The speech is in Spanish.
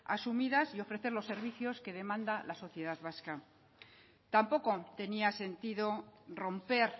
asumidas y ofrecer los servicios que demanda la sociedad vasca tampoco tenía sentido romper